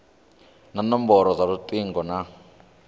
na nomboro dza lutingo na